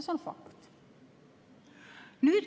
See on fakt.